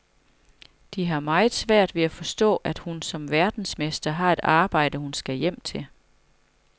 De har meget svært ved at forstå, at hun som verdensmester har et arbejde, hun skal hjem til.